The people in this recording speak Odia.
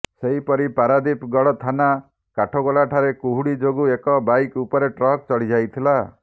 ସେହିପରି ପାରାଦୀପଗଡ ଥାନା କାଠଗୋଲା ଠାରେ କୁହୁଡି ଯୋଗୁ ଏକ ବାଇକ ଉପରେ ଟ୍ରକ ଚଢିଯାଇଥିଲା